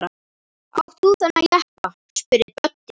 Átt þú þennan jeppa? spurði Böddi.